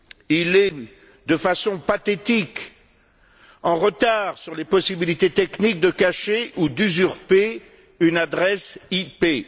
Il est, de façon pathétique, en retard sur les possibilités techniques de cacher ou d'usurper une adresse IP.